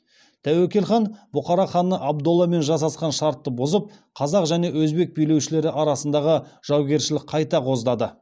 тәуекел хан бұхара ханы абдолламен жасасқан шартты бұзып қазақ және өзбек билеушілері арасындағы жаугершілік қайта қоздады